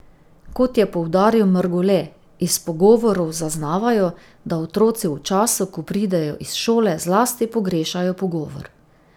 Kot je poudaril Mrgole, iz pogovorov zaznavajo, da otroci v času, ko pridejo iz šole, zlasti pogrešajo pogovor.